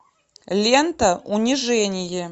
лента унижение